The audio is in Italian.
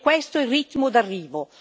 È questo il ritmo d'arrivo.